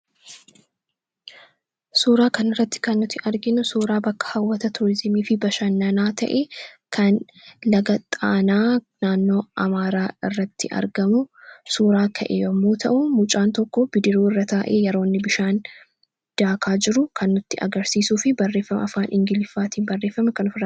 Suuraa kana irratti kan nuti arginu suuraa bakka hawwata tuurizimiifi bashannanaa ta'e kan laga Xaanaa naannoo Amaaraa irratti argamu suuraa ka'e yemmuu ta'u, mucaan tokko bidiruu irra taa'ee yeroo inni bishaan daakaa jiru kan nutti agarsiisuufi barreeffama afaan Ingiliizii barreeffame kan ofirraa qabu.